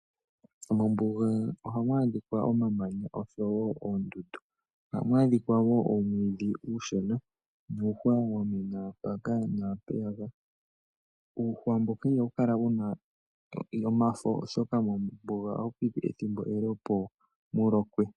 Mombuga ohamu adhikwa omamanya oshowo oondundu, ohamu adhikwa wo umwiidhi uushona nuushwa peyaka naapeyaka, uuhwa mbuka ihawu kala wuna omafo oshoka mombuga ihapu piti ethimbo ele opo mulokwe.